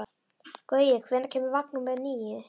Gaui, hvenær kemur vagn númer níu?